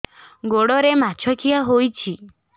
ଗୋଡ଼ରେ ମାଛଆଖି ହୋଇଛି